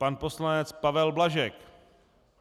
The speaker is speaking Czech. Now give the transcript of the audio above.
Pan poslanec Pavel Blažek.